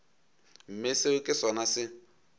mme seo ke sona se